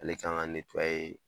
Ale kan ka netuwaye